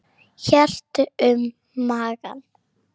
Hélt um magann.